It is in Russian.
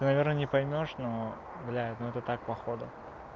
наверное не поймёшь но блядь ну это так походу